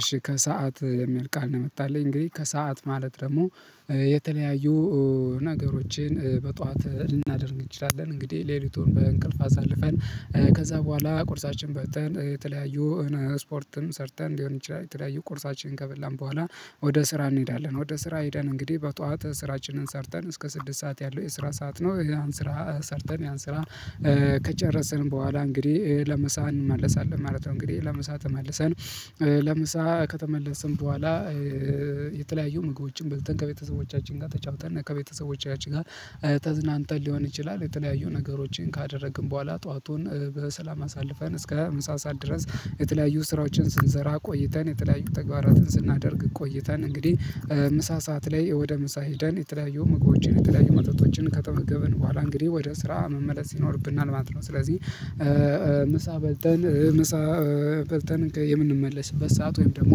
እሺ ከሰአት የሚል ቃል ነው የመጣልኝ እንግዲህ ከሰአት ማለት ደግሞ የተለያዩ ነገሮቼን በጧት ልናደርግ እንችላለን እንግዲህ ሌሊቱን በእንቅልፍ አሳልፈን ከዛ በኋላ ቁርሳችን በልተን የተለያዩ ስፖርትም ሰርተን ሊሆን ይችላል የተለያዩ ቁርሳችን ከበላን በኋላ ወደ ስራ እንሄዳለን ወደ ስራ ሄደን እንግዲህ በጧት ስራችንን ሰርተን እስከ ስድስት ሰዓት ያለው የስራ ሰዓት ነው ያን ስራ ሰርተን ያን ስራ ከጨረስን በኋላ እንግዲህ ለምሳ እንመለሳለን ማለት ነው እንግዲህ ለምሳ ተመልሰን ለምሳ ከተመለስን በኋላ የተለያዩ ምግቦችን በልተን ከቤተሰቦቻችን ጋር ተጫውተን ከቤተሰቦቻችን ጋር ተዝናንተን ሊሆን ይችላል የተለያዩ ነገሮችን ካደረግን በኋላ ጠዋቱን በሰላም አሳልፈን እስከ ምሳ ሰዓት ድረስ የተለያዩ ስራችን ስንሰራ ቆይተን የተለያዩ ተግባራትን ስናደርግ ቆይተን እንግዲህ ምሳ ሰዓት ላይ ወደ ምሳ ሄደን የተለያዩ ምግቦችን የተለያዩ መጠጦችን ከተመገብን በኋላ እንግዲህ ወደ ስራ መመለስ ይኖርብናል ማለት ነው ስለዚህ ምሳ በልተን ምሳ በልተን የምንመለስበት ሰዓት ወይም ደግሞ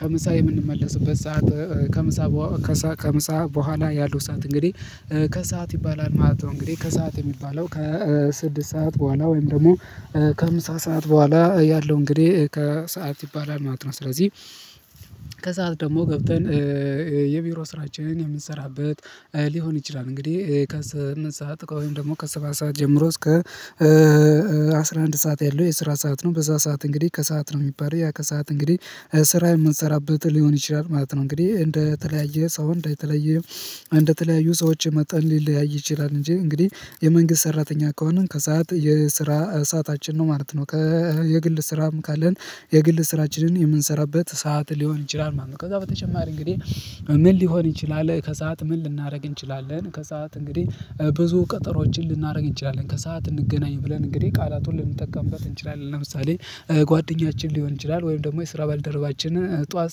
ከምሳ የምንመለስበት ሰዓት ከምሳ ከምሳ በኋላ ያለው ሰዓት እንግዲህ ከሰአት ይባላል ማለት ነው እንግዲህ ከሰአት የሚባለው ከስድስት ሰዓት በኋላ ወይም ደግሞ ከምሳ ሰዓት በኋላ ያለው እንግዲህ ከሰአት ይባላል ማለት ነው ስለዚህ ከሰአት ደግሞ ገብተን የቢሮ ስራችንን የምንሰራበት ሊሆን ይችላል እንግዲህ ከስምንት ሰዓት ወይም ደግሞ ከሰባት ሰዓት ጀምሮ እስከ አስራ አንድ ሰዓት ያለው የስራ ሰዓት ነው በዛ ሰዓት እንግዲህ ከሰአት ነው የሚባለው ያ ከሰአት እንግዲህ ስራ የምንሰራበት ሊሆን ይችላል ማለት ነው እንግዲህ እንደተለያየ ሰው እንደተለያየ እንደተለያዩ ሰዎች መጠን ሊለያይ ይችላል እንጂ እንግዲህ የመንግስት ሰራተኛ ከሆንን ከሰአት የስራ ሰዓታችን ነው ማለት ነው ከየግል ስራም ካለን የግል ስራችንን የምንሰራበት ሰዓት ሊሆን ይችላል ማለት ነው ከዛ በተጨማሪ እንግዲህ ምን ሊሆን ይችላል ከሰአት ምን ልናደርግ እንችላለን ከሰአት እንግዲህ ብዙ ቀጠሮዎችን ልናደርግ እንችላለን ከሰአት እንገናኝ ብለን እንግዲህ ቃላቱን ልንጠቀምበት እንችላለን ለምሳሌ ጓደኛችን ሊሆን ይችላል ወይም ደግሞ የስራ ባልደረባችን ጠዋት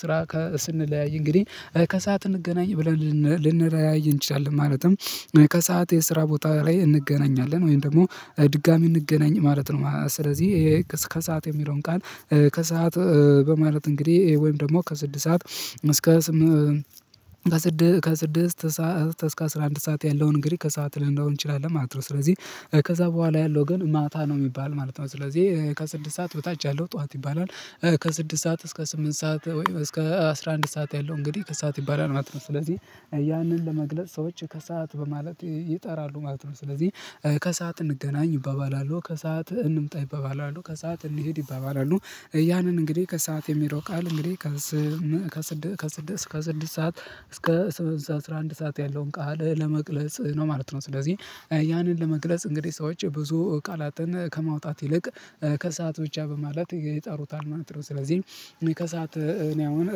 ስራ ስንለያይ እንግዲህ ከሰአት እንገናኝ ብለን ልንለያይ እንችላለን ማለትም ከሰአት የስራ ቦታ ላይ እንገናኛለን ወይም ደግሞ ድጋሚ እንገናኝ ማለት ነው ስለዚህ ከሰአት የሚለውን ቃል ከሰአት በማለት እንግዲህ ወይም ደግሞ ከስድስት ሰዓት እስከ ከስድስት ከስድስት እስከ አስራ አንድ ሰዓት ያለውን እንግዲህ ከሰአት ልንለው እንችላለን ማለት ነው ስለዚህ ከዛ በኋላ ያለው ግን ማታ ነው የሚባል ማለት ነው ስለዚህ ከስድስት ሰዓት በታች ያለው ጠዋት ይባላል ከስድስት ሰዓት እስከ ስምንት ሰዓት ወይም እስከ አስራ አንድ ሰዓት ያለው እንግዲህ ከሰአት ይባላል ማለት ነው ስለዚህ ያንን ለመግለጽ ሰዎች ከሰአት በማለት ይጠራሉ ማለት ነው ስለዚህ ከሰአት እንገናኝ ይባባላሉ ከሰአት እንምጣ ይባባላሉ ከሰአት እንሂድ ይባባላሉ ያንን እንግዲህ ከሰአት የሚለው ቃል እንግዲህ ከስድስት ከስድስት እስክ ስድስት ሰዓት እስከ ሰባት ሰዓት አስራ አንድ ሰዓት ያለውን ቃል ለመቅለጽ ነው ማለት ነው ስለዚህ ያንን ለመግለጽ እንግዲህ ሰዎች ብዙ ቃላትን ከማውጣት ይልቅ ከሰአት ብቻ በማለት ይጠሩታል ማለት ነው ስለዚህ እኔ ከሰአት እኔ አሁን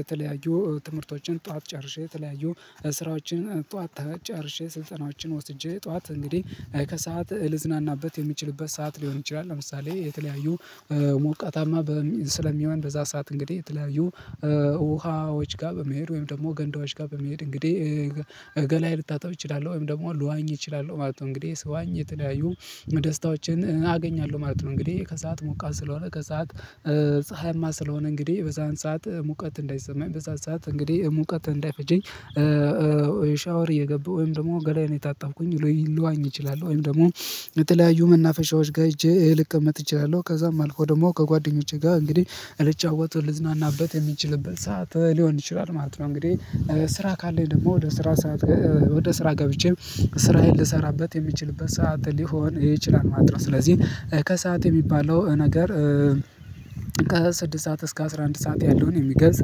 የተለያዩ ትምህርቶችን ጠዋት ጨርሼ የተለያዩ ስራዎችን ጧት ጨርሼ ስንጠናዎችን ወስጄ ጠዋት እንግዲህ ከሰአት ልዝናናበት የሚችልበት ሰዓት ሊሆን ይችላል ለምሳሌ የተለያዩ ሞቃታማ ስለሚሆን በዛ ሰዓት እንግዲህ የተለያዩ ውሃዎች ጋር በመሄድ ወይም ደግሞ ገንዳዎች ጋር በመሄድ እንግዲህ ገላዬ ልታጠብ እችላለሁ ወይም ደግሞ ልዋኝ እችላለሁ ማለት ነው እንግዲህ ስዋኝ የተለያዩ ደስታዎችን አገኛለሁ ማለት ነው እንግዲህ ከሰአት ሞቃት ስለሆነ ከሰአት ፀሀይማ ስለሆነ እንግዲህ በዛን ሰዓት ሙቀት እንዳይሰማኝ በዛን ሰዓት እንግዲህ ሙቀት እንዳይፈጀኝ ሻወር እየገባሁ ወይም ደግሞ ገላዬን የታጠብኩኝ ልዋኝ እችላለሁ ወይም ደግሞ የተለያዩ መናፈሻዎች ጋር ህጄ ልቀመጥ እችላለሁ ከዛም አልፎ ደግሞ ከጓደኞቼ ጋር እንግዲህ ልጫወት ልዝናናበት የሚችልበት ሰዓት ሊሆን ይችላል ማለት ነው እንግዲህ ስራ ካለኝ ደግሞ ወደ ስራ ስራ ወደ ስራ ገብቼ ስራዬን ልሰራበት የሚችልበት ሰዓት ሊሆን ይችላል ማጥራት ስለዚህ ከሰአት የሚባለው ነገር ከስድስት ስዓት እስከ አስራ አንድ ሰዓት ያለውን የሚገልጽ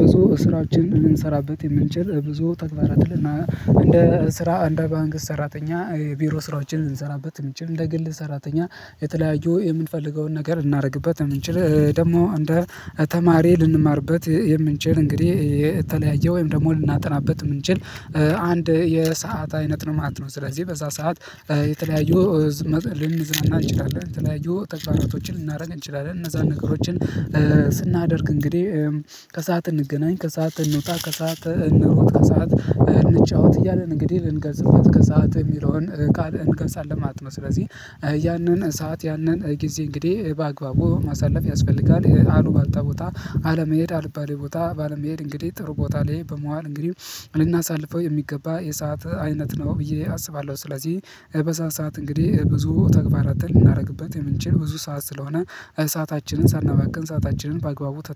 ብዙ ስራችንን ልንሰራበት የምንችል ብዙ ተግባራት ልና እንደ ስራ እንደ መንግስት ሰራተኛ ቢሮ ስራዎችን ልንሰራበት የምንችል እንደ ግል ሰራተኛ የተለያዩ የምንፈልገውን ነገር እናደርግበት የምንችል ደግሞ እንደ ተማሪ ልንማርበት የምንችል እንግዲህ የተለያየ ወይም ደግሞ ልናጠናበት የምንችል አንድ የሰዓት አይነት ነው ማለት ነው ስለዚህ በዛ ሰዓት የተለያዩ ልንዝናና እንችላለን ተለያዩ ተግባራቶችን ልናደርግ እንችላለን እነዛን ነገሮችን ስናደርግ እንግዲህ ከሰአት እንገናኝ ከሰአት እንውጣ ከሰአት እንሩጥ ከሰአት እንጫወት እያለን እንግዲህ ልንገልጽበት ከሰአት የሚለውን ቃል እንገልጻለን ማለት ነው ስለዚህ ያንን ሰዓት ያንን ጊዜ እንግዲህ በአግባቡ ማሳለፍ ያስፈልጋል ይሄ አሉባልታ ቦታ አለመሄድ አልባሌ ቦታ ባለ መሄድ እንግዲህ ጥሩ ቦታ ላይ በመዋል እንግዲህ ልናሳልፈው የሚገባ የሰዓት አይነት ነው ብዬ አስባለሁ ስለዚህ በዛን በሰአት እንግዲህ ብዙ ተግባራትን ልናደርግበት የምንችል ብዙ ሰዓት ስለሆነ ሰአታችንን ሳናባክን ሰአታችንን በአግባቡ ተጠ